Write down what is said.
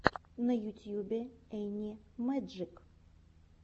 на ютюбе энни мэджик